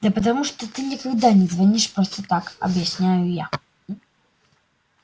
да потому что ты никогда не звонишь просто так объясняю я